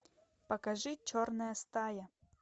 покажи черная стая